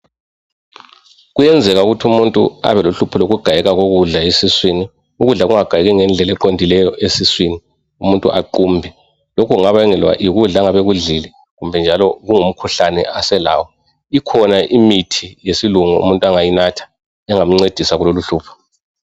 Kuyenzeka ukuthi umuntu abelohlupho lokugayeka kokudla esiswini. Ukudla kungagayeki ngendlela eqondileyo esiswini umuntu aqumbe. Lokhu kungabangelwa yikudla angabe ekudlele kumbe njalo kungumkhuhlane aselawo. Ikhona imithi yesilungu umuntu angayinatha engamncedisa kuloluhlupho.